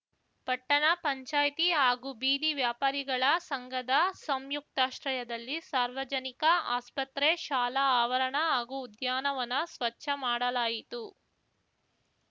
ಪಟ್ಟಣ ಪಂಚಾಯ್ತಿ ಹಾಗೂ ಬೀದಿ ವ್ಯಾಪಾರಿಗಳ ಸಂಘದ ಸಂಯುಕ್ತಾಶ್ರಯದಲ್ಲಿ ಸಾರ್ವಜನಿಕ ಆಸ್ಪತ್ರೆ ಶಾಲಾ ಆವರಣ ಹಾಗೂ ಉದ್ಯಾನವನ ಸ್ವಚ್ಛ ಮಾಡಲಾಯಿತು